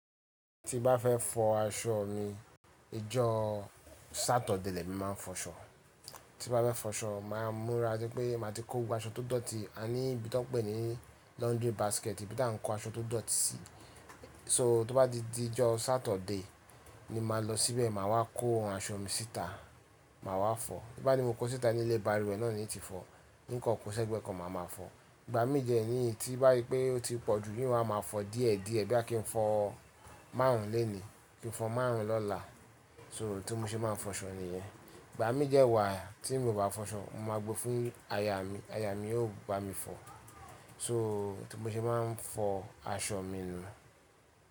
Tí bá fẹ́ fọ aṣọ mi, ijọ́ Saturday lẹ́mi máa ń fọ aṣọ. Tí bá fẹ́ fọṣọ, màá múra rípé máa ti kó gbogbo aṣọ tó dọ̀tí, a ní ibi tí wọ́n ń pè ní laundry basket, ibi tà ń kó aṣọ tó dọ̀tí sí. So tó bá di ijọ́ Saturday, ni màá lọ síbẹ̀, màá wá kó àwọn aṣọ mi síta, màá wá fọ. Bí bá ni mo kó síta ní ilé, báluwe náà ní n tí fọ. Nkan kọ́ ṣẹ́gbẹ́ kan mà máa fọ. Ìgbàmi dẹni tí bá rí pé ó ti pọ̀jù i wàá máa fọ díẹ̀díẹ̀, bí a kí ń fọ márùn lení, kí n fọ márùn lọ́la. So, tí mo ṣe máa ń fọṣọ nìyẹn. Ìgbàmi dé wà tí mi ò bá fọṣọ, mo máa gbé fún aya mi, aya mi yóò bá mi fọ. So tí mo ṣe máa ń fọ aṣọ mi nù.